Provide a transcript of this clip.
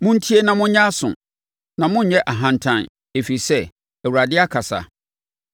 Montie na monyɛ aso, na monnyɛ ahantan, ɛfiri sɛ, Awurade akasa.